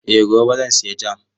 Eh gobe zan sayi jam.